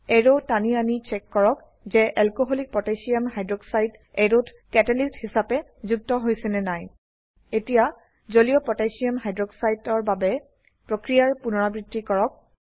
arrow টানি আনি check কৰক যে এলকোহলিক পটাসিয়াম হাইক্সাইড alcকহ অ্যাৰোত কেটালিষ্ট অনুঘটক হিসাবে যুক্ত হৈছে নে নাই এতিয়া জলীয় পটাসিয়াম হাইক্সাইড aqকহ এৰ বাবে প্ৰক্ৰিয়াৰ পুনৰাবৃত্তি কৰক